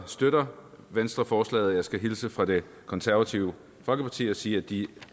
støtter venstre forslaget og jeg skal hilse fra det konservative folkeparti og sige at de